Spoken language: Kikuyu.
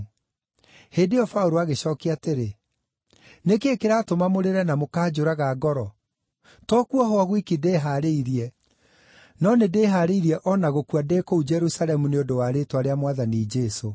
Hĩndĩ ĩyo Paũlũ agĩcookia atĩrĩ, “Nĩ kĩĩ kĩratũma mũrĩre, na mũkanjũraga ngoro? To kuohwo gwiki ndĩĩhaarĩirie, no nĩndĩhaarĩirie o na gũkua ndĩ kũu Jerusalemu nĩ ũndũ wa rĩĩtwa rĩa Mwathani Jesũ.”